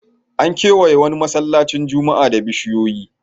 An kewaye wani masallacin juma'a da bishiyoyi.